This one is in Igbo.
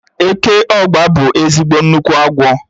Eke ọ́gba bụ ezigbo nnukwu agwọ